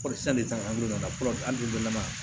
Kɔrɔsisan de taara an bɛ don dɔ la